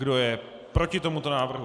Kdo je proti tomuto návrhu?